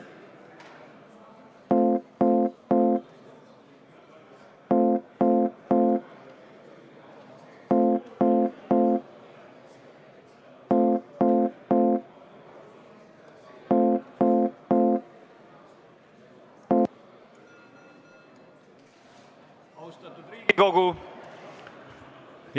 Austatud Riigikogu!